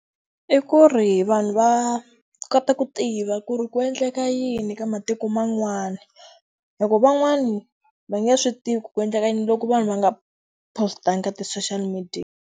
I ku ri vanhu va kota ku tiva ku ri ku endleka yini ka matiko man'wana. Hikuva van'wani va nge swi tiviki ku endleka yini loko vanhu va nga post-angi ka ti-social media.